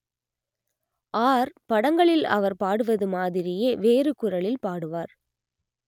R படங்களில் அவர் பாடுவது மாதிரியே வேறு குரலில் பாடுவார்